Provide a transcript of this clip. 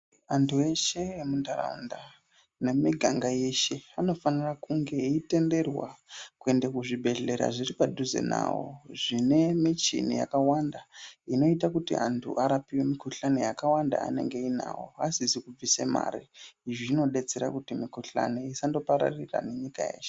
Antu eshe emunharaunda nemumiganga yeshe anofanira kunge eitenderwa kuenda kuzvibhedhlera zviri padhuze nawo zvine michini yakawanda inoita kuti antu arapiwe mikhuhlani yakawanda anenge ainawo asizi kubvise mare izvi zvinodetsera kuti mikhuhlani isandopararira nenyika yeshe.